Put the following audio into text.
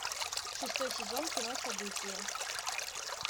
шестой сезон кино событие